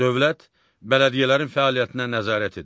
Dövlət bələdiyyələrin fəaliyyətinə nəzarət edir.